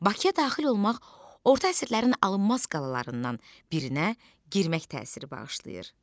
Bakıya daxil olmaq orta əsrlərin alınmaz qalalarından birinə girmək təsiri bağışlayır.